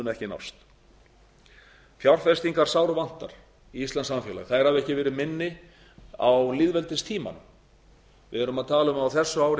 ekki nást fjárfestingar sárvatnar í íslenskt samfélag þær hafa ekki verið minni á lýðveldistímanum við erum að tala um að á þessu ári